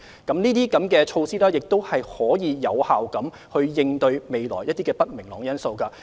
這些措施亦可以有效應對未來一些不明朗因素。